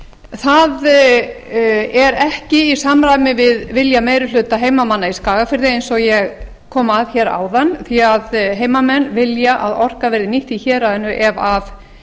það er ekki í samræmi við vilja meiri hluta heimamanna í skagafirði eins og ég kom að hér áðan því að heimamenn vilja að orkan verði nýtt í héraðinu ef af